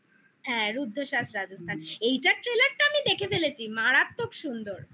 হ্যাঁ রুদ্ধশ্বাস রাজস্থান হুম এইটার trailer টা আমি দেখে ফেলেছি মারাত্মক সুন্দর